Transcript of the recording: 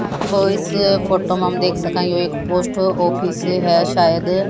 और इस फोटो में हम देख सकते एक पोस्ट ऑफिस है शायद--